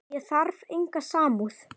Ég þarf enga samúð.